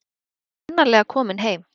Hún er sannarlega komin heim.